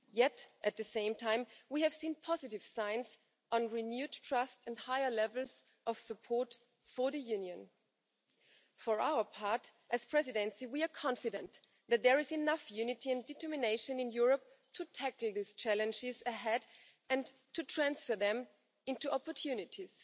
Yet, at the same time, we have seen positive signs on renewed trust and higher levels of support for the Union. For our part, as the Presidency, we are confident that there is enough unity and determination in Europe to tackle these challenges ahead and to transfer them into opportunities.